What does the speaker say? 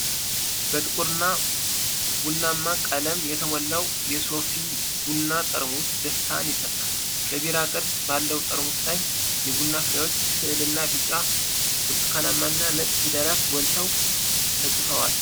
በጥቁር ቡና ቀለም የተሞላው የሶፊ ቡና ጠርሙስ ደስታን ይፈጥራል። በቢራ ቅርጽ ባለው ጠርሙስ ላይ የቡና ፍሬዎች ስዕልና ቢጫ፣ ብርቱካንማና ነጭ ፊደላት ጎልተው ተጽፈዋል።